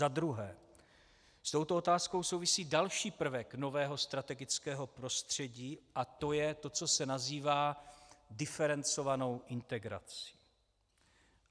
Za druhé s touto otázkou souvisí další prvek nového strategického prostředí a to je to, co se nazývá diferencovanou integrací.